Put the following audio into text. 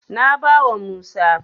Na bawa Musa.